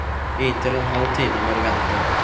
I inntil en halv time må du vente.